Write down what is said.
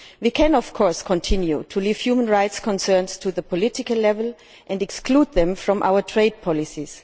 We can, of course, continue to leave human rights concerns to the political level and exclude them from our trade policies.